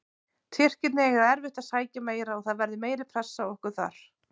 Tyrkirnir eiga eftir að sækja meira og það verður meiri pressa á okkur þar.